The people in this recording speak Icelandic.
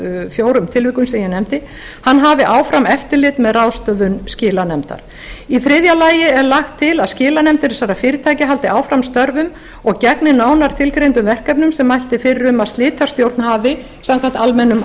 fjórum tilvikum sem ég nefndi hafi áfram eftirlit með ráðstöfun skilanefndar í þriðja lagi er lagt til að skilanefndir þessara fyrirtækja haldi áfram störfum og gegni nánar tilgreindum verkefnum sem mælt er fyrir um að slitastjórn hafi samkvæmt almennum